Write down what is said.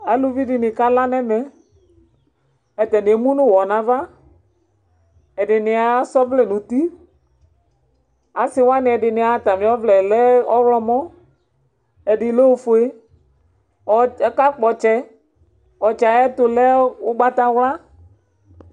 Aluvi di ni kala n'ɛmɛ Atani emu nʋ ʋwɔ n'ava, ɛdini asa ɔvlɛ nʋ uti Asi wani ɛdini atami ɔvlɛ yɛ lɛ ɔwlɔmɔ, ɛdi lɛ ofue Akakpɔ ɔtsɛ Ɔtsɛ yɛ ayɛtʋ lɛ ʋgbatawla